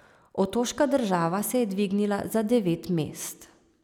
Otoška država se je dvignila za devet mest.